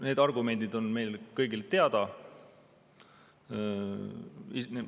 Need argumendid on meile kõigile teada.